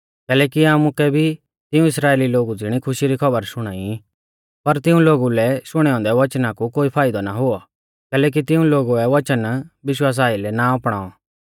कैलैकि आमुकै भी तिऊं इस्राइली लोगु ज़िणौ खुशी री खौबर शुणाई पर तिऊं लोगु लै शुणै औन्दै वचना कु कोई फाइदौ ना हुऔ कैलैकि तिऊं लोगुऐ वचन विश्वासा आइलै ना अपणाऔ